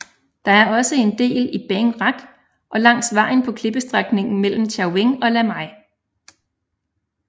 Der er også en del i Bang Rak og langs vejen på klippestrækningen mellem Chaweng og Lamai